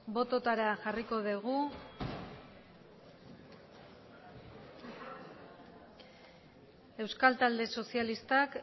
bototara jarriko dugu euskal talde sozialistak